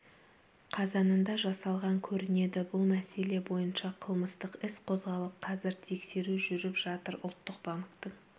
қазанында жасалған көрінеді бұл мәселе бойынша қылмыстық іс қозғалып қазір тексеру жүріп жатыр ұлттық банктің